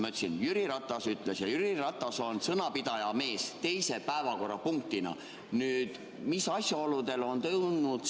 Ma ütlesin, mida Jüri Ratas oli öelnud – Jüri Ratas on sõnapidaja mees –, et seda teise päevakorrapunktina.